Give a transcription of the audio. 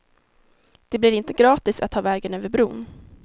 Det blir inte gratis att ta vägen över bron.